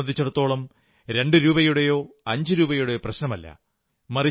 അവരെ സംബന്ധിച്ചിടത്തോളം രണ്ടുരൂപയുടെയോ അഞ്ചുരൂപയുടെയോ പ്രശ്നമല്ല